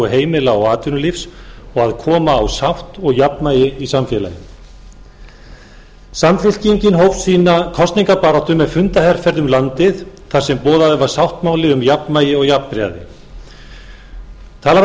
heimila og atvinnulífs og að koma á sátt og jafnvægi í samfélaginu samfylkingin hóf sína kosningabaráttu með fundaherferð um landið þar sem boðaður var sáttmáli um jafnvægi og jafnræði talað var um